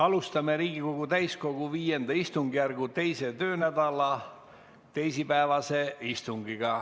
Alustame Riigikogu täiskogu V istungjärgu 2. töönädala teisipäevast istungit.